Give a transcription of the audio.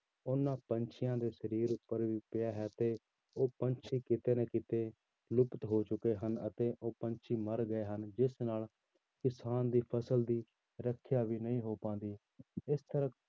ਉਹਨਾਂ ਪੰਛੀਆਂ ਦੇ ਸਰੀਰ ਉੱਪਰ ਵੀ ਪਿਆ ਹੈ ਤੇ ਉਹ ਪੰਛੀ ਕਿਤੇ ਨਾ ਕਿਤੇ ਲੁੱਪਤ ਹੋ ਚੁੱਕੇ ਹਨ, ਤੇ ਉਹ ਪੰਛੀ ਮਰ ਗਏ ਹਨ, ਜਿਸ ਨਾਲ ਕਿਸਾਨ ਦੀ ਫ਼ਸਲ ਦੀ ਰੱਖਿਆ ਵੀ ਨਹੀਂ ਹੋ ਪਾਉਂਦੀ ਇਸ ਤਰਾਂ